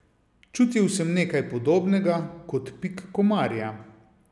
Čutil sem nekaj podobnega, kot pik komarja.